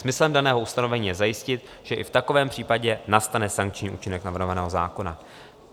Smyslem daného ustanovení je zajistit, že i v takovém případě nastane sankční účinek navrhovaného zákona.